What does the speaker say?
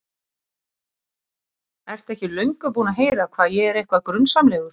Ertu ekki löngu búinn að heyra hvað ég er eitthvað. grunsamlegur?